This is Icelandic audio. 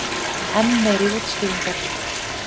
Enn meiri útskýringar.